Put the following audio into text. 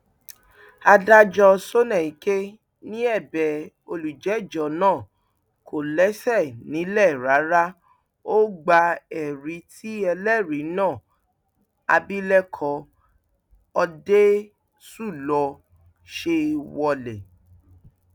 adájọ sọnàìke ni ẹbẹ olùjẹjọ náà kò lẹsẹ nílẹ rárá ó gba ẹrí tí ẹlẹrìí náà abilékọ òdeṣúlò ṣe wọlẹ